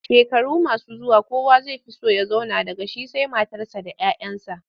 Shekaru masu zuwa kowa zai fi so ya zauna daga shi sai matarsa da 'ya 'yansa.